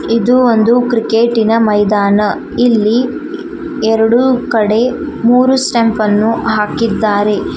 ಇದು ಒಂದು ಕ್ರಿಕೆಟಿನ ಮೈದಾನ ಇಲ್ಲಿ ಎರಡು ಕಡೆ ಮೂರು ಸ್ಟೆಂಪ್ ಅನ್ನು ಹಾಕಿದ್ದಾರೆ.